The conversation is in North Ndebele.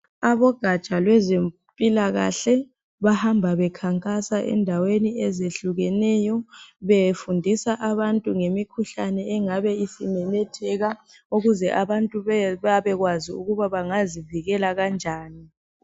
Abogaja kwezempilakahle bahamba bekhankasa endaweni ezehlukeneyo. Befundisa abantu ngemikhuhlane engabe isimemetheka. Ukuze abantu babekwazi ukuthi bangazivikela kanjani.